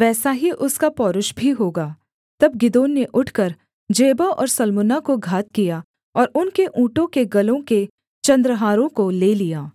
वैसा ही उसका पौरुष भी होगा तब गिदोन ने उठकर जेबह और सल्मुन्ना को घात किया और उनके ऊँटों के गलों के चन्द्रहारों को ले लिया